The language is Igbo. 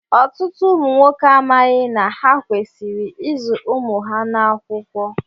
Ọtụtụ ụmụ nwoke amaghị na ha kwesịrị ịzụ ụmụ ha n'akwụkwọ.